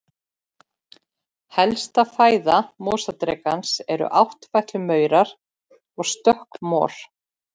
Helsta fæða mosadrekans eru áttfætlumaurar og stökkmor.